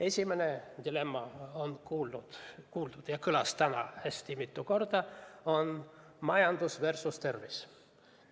Esimene on juba kuuldud teema, see on täna mitu korda kõlanud: majandus versus tervis.